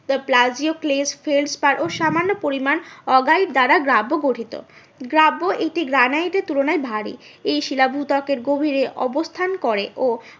ও সামান্য পরিমান অগ্রাইট দ্বারা গ্রাব্ব গঠিত। গ্রাব্ব একটি গ্রানাইটের তুলনায় ভারী এই শিলা ভূত্বকের গভীরে অবস্থান করে ও